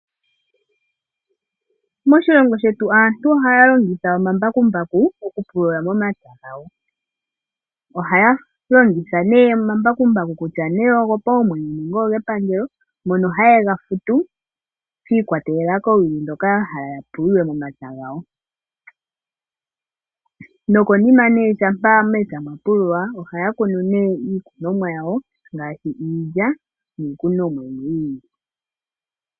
Moshilongo shetu aantu ohaya longitha omambakumbaku okupulula momapya gawo. Ohaya longitha oomambakumbaku gopaumwene nenge gepangelo ngoka haye ga futu shiikwatelela kowili ndhoka ya hala ya pulule momapya gawo, nokonima shampa mepya mwapululwa ohaya kunu iikunomwa ya wo ngaashi iilya niikunomwa yimwe yi ili.